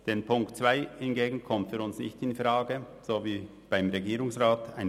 Der Punkt 2 hingegen kommt für uns wie für den Regierungsrat nicht infrage.